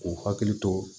K'u hakili to